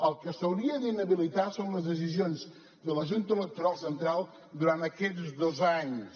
el que s’hauria d’inhabilitar són les decisions de la junta electoral central durant aquests dos anys